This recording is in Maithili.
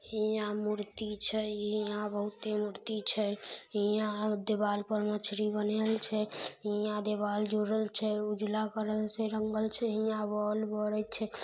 हीया मूर्ति छै हीया बहुते मूर्ति छै हीया दीवाल पर मछली बनाएल छै हीया देवाल जोड़ल छै उजाला कलर से रंगल छै हीया बोल बड़य छै।